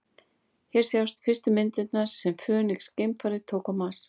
Hér sjást fyrstu myndirnar sem Fönix-geimfarið tók á Mars.